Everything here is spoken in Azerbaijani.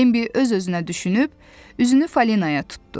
Bembi öz-özünə düşünüb üzünü Falinaya tutdu.